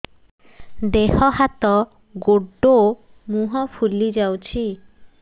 ଦେହ ହାତ ଗୋଡୋ ମୁହଁ ଫୁଲି ଯାଉଛି